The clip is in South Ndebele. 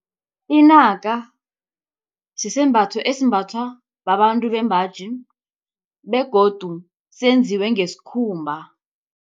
Inaka sisembatho esimbathwa babantu bembaji begodu senziwe ngesikhumba.